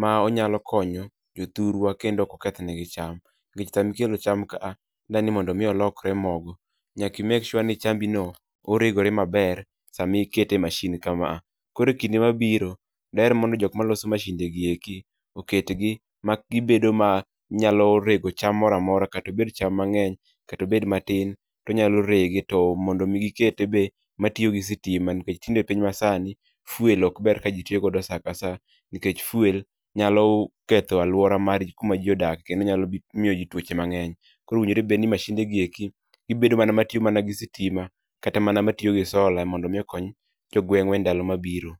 ma onyalo konyo jothurwa kendo oko kethnegi cham. Nikech samikelo cham ka a, idwani mondo mi olokre mogo. Nyaki mek shua ni chambi no oregore maber samikete e mashin ka ma a. Koro e kinde mabiro, daher mondo jok ma loso mashinde gieki, oketgi ma gibedo ma nyalo rego cham moramora. Katobed cham mang'eny, katobed matin, tonyalo rege to mondo mi gikete be matiyo gi sitima. Nikech tinde piny ma sani, fuel ok ber ka ji tiyo go sa ka sa. Nikech fuel nyalo ketho alwora margi kuma ji odake kendo nyalo miyo ji tuoche mang'eny. Koro owinjore bedni mashinde gieki, gibedo mana matiyo mana gi sitima kata mana matiyo gi sola mondo mi okony jo gweng'wa e ndalo mabiro.